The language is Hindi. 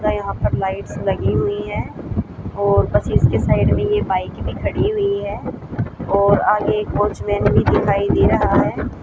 पूरा यहां पर लाइट्स लगी हुईं हैं और बस इसके साइड में ये बाइक भी खड़ी हुईं हैं और आगे एक वॉचमैन भी दिखाई दे रहा हैं।